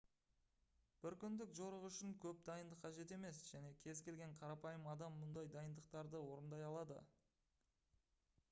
бір күндік жорық үшін көп дайындық қажет емес және кез-келген қарапайым адам мұндай дайындықтарды орындай алады